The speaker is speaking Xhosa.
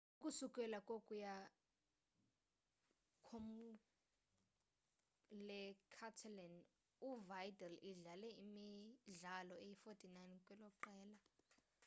ukusukela kwokuya kwkomkhulu-le-catalan u-vidal idlale imidlalo eyi-49 kweloqela